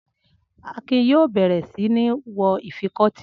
Akin yóò bẹ̀rẹ̀ sí mi wọ ìfikọ́tí.